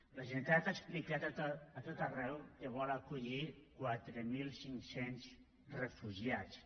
la generalitat ha explicat a tot arreu que vol acollir quatre mil cinc cents refugiats